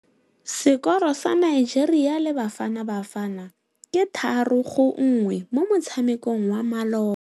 Sekôrô sa Nigeria le Bafanabafana ke 3-1 mo motshamekong wa malôba.